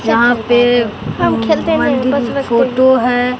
यहां पे मंदिर में फोटो है।